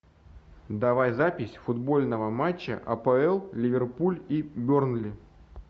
давай запись футбольного матча апл ливерпуль и бернли